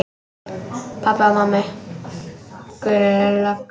Pabbi og mamma, Gulli lögga.